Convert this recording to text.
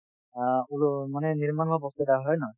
অ ওলো মানে নিৰ্মাণ হোৱা বস্তু এটা হয় নে নহয়